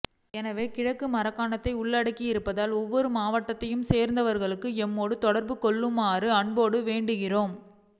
எனவேகிழக்கு மாகாணத்தை உள்ளடக்கி இருப்பதால் ஒவ்வொரு மாவட்டத்தை சேர்ந்தவர்களும் எம்மோடு தொடர்ப்பு கொள்ளவுமாறு அன்போடு வேண்டுகின்றோம்